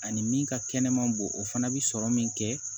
Ani min ka kɛnɛma boo o fana bɛ sɔrɔ min kɛ